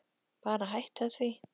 Bara hætta því.